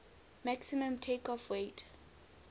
maximum takeoff weight